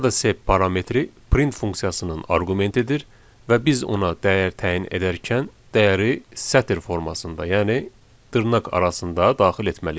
Burada sep parametri print funksiyasının arqumentidir və biz ona dəyər təyin edərkən dəyəri sətr formasında, yəni dırnaq arasında daxil etməliyik.